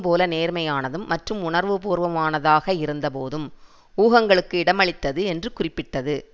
போல நேர்மையானதும் மற்றும் உணர்வுபூர்வமானதாக இருந்தபோதும் ஊகங்களுக்கு இடமளித்தது என்று குறிப்பிட்டது